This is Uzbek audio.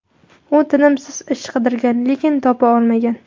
U tinimsiz ish qidirgan, lekin topa olmagan.